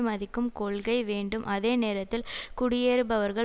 மதிக்கும் கொள்கை வேண்டும் அதே நேரத்தில் குடியேறுபவர்கள்